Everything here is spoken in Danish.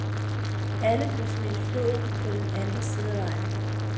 Alle blev smidt i floden på den anden side af vejen.